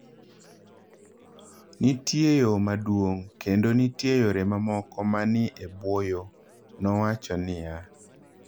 """Nitie yo maduong', kendo nitie yore mamoko ma ni e bwo yo,"" nowacho niya.